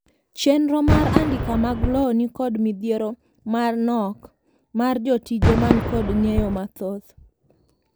chenro mar andika mag lowo ni kod midhiero mar nok mar jotije man kod ng'eyo mathoth